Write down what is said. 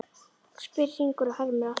spyr Hringur og hermir allt eftir.